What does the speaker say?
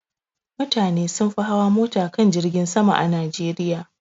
Mutane sun fi hawa mota kan jirgin sama a Najeriya.